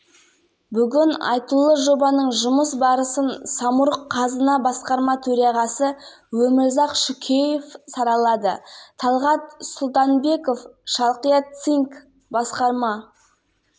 энергоүнемді жаңа технологияларды қолданамыз соның арқасында жобада көрсетілген экономикалық нәтижелерге қол жеткізуге болады рабиға омарова шалқия